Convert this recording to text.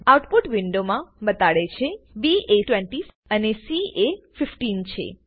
out put window માં બતાડે છે બી એ 20 અને સી એ 15 છે